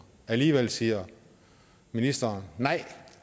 alligevel siger ministeren nej